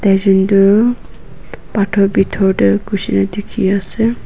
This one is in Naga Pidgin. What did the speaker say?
taijon toh pathor bithor tae gusina dekhi ase.